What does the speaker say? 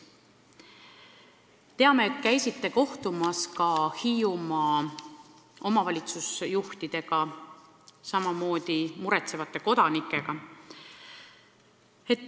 Teame, et käisite kohtumas Hiiumaa omavalitsusjuhtidega, samamoodi muretsevate kodanikega.